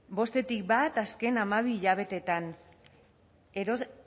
bostetik bat azken hamabi hilabeteetan